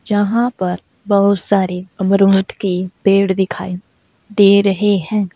यहां पर बहुत सारे अमरूद के पेड़ दिखाई दे रहे हैं।